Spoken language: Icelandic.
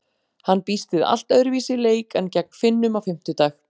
Hann býst við allt öðruvísi leik en gegn Finnum á fimmtudag.